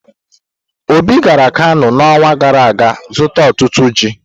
Obi gara Kano n'ọnwa gara aga zụta otutu ji.